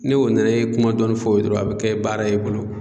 Ne o nana e ye kuma dɔɔni fɔ o ye dɔrɔn a bɛ kɛ baara ye i bolo.